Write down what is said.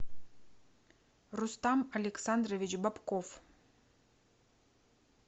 рустам александрович бобков